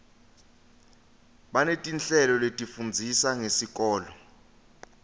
banetinhlelo letifundzisa ngesikolo